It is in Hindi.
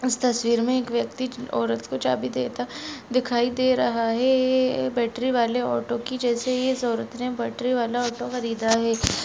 इस तस्वीर में एक व्यक्ति औरत को चाबी देता दिखाई दे रहा है ऐ बेटरी वाले ऑटो के जेसे ही इस औरत ने बेटरी वाला ऑटो ख़रीदा है।